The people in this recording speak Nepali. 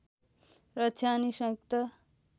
रक्षा अनि संयुक्त